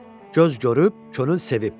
Göz görüb, könül sevib.